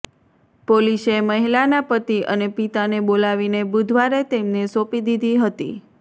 પોલીસે મહિલાના પતિ અને પિતાને બોલાવીને બુધવારે તેમને સોંપી દીધી હતી